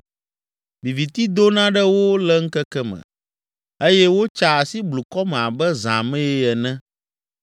Viviti dona ɖe wo le ŋkeke me eye wotsaa asi blukɔ me abe zã mee ene.